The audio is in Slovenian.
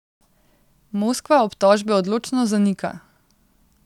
Moskva obtožbe odločno zanika.